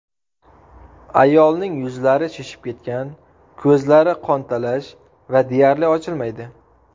Ayolning yuzlari shishib ketgan, ko‘zlari qontalash va deyarli ochilmaydi.